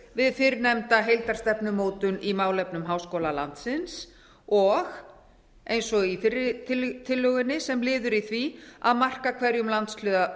við fyrrnefnda heildarstefnumótun í málefnum háskóla landsins og eins og í fyrri tillögunni sem liður í því að marka hverjum landshluta